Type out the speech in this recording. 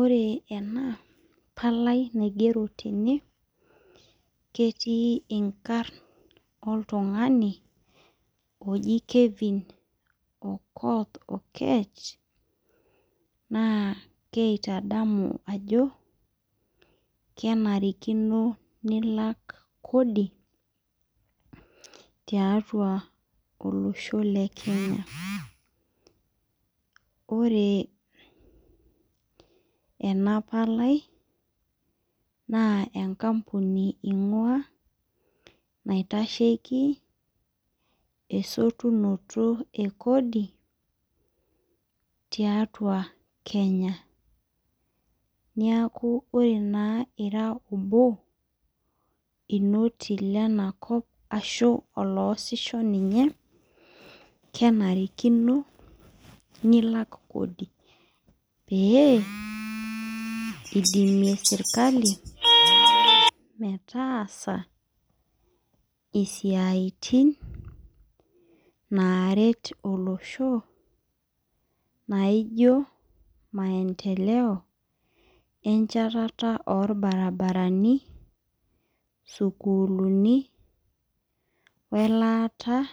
Ore ena palai naigero tene, ketii inkarn oltung'ani, oji Kelvin Okoth Okech, naa keitadamu ajo, kenarikino nilak kodi, tiatua olosho le Kenya. Ore ena palai, naa enkampuni ing'ua, naitasheki esotunoto e kodi, tiatua Kenya. Niaku ore naa ira obo, inoti lenakop ashu oloosisho ninye, kenarikino nilak kodi. Pee, idimie serkali, metaasa isiaitin naret olosho, naijo maendeleo enchatata orbarabarani, sukuulini, welaata